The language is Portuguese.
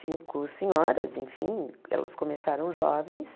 cinco senhoras, enfim, elas começaram jovens.